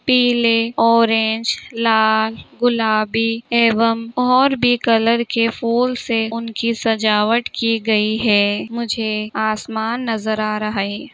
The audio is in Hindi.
पिले अरैन्ज लाल गुलाबी एवं और भी कलर के फूल से उनकी सजावट की गई हैं मुझे आसमान नजर आ रहा हैं ।